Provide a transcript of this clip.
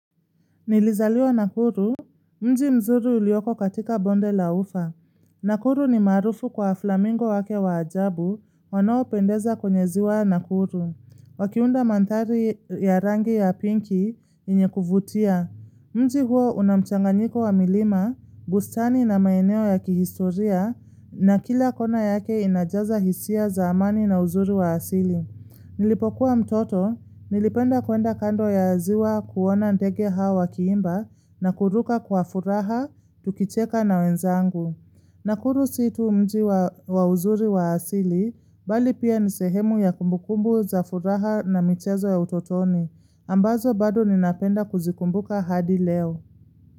Nilizaliwa nakuru, mji mzuri ulioko katika bonde la ufa. Nakuru ni maarufu kwa flamingo wake wa ajabu, wanoopendeza kwenye ziwa nakuru. Wakiunda manthari ya rangi ya pinki, yenye kuvutia. Mji huo unamchanganyiko wa milima, bustani na maeneo ya kihistoria, na kila kona yake inajaza hisia za amani na uzuri wa asili. Nilipokuwa mtoto, nilipenda kuenda kando ya ziwa kuona ndege hao wakiimba na kuruka kwa furaha tukicheka na wenzangu. Nakuru situ mji wa uzuri wa asili, bali pia nisehemu ya kumbukumbu za furaha na mmchezo ya utotoni, ambazo bado ninapenda kuzikumbuka hadi leo.